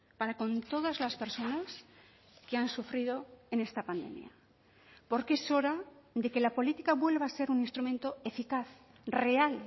para con todas las personas que han sufrido en esta pandemia porque es hora de que la política vuelva a ser un instrumento eficaz real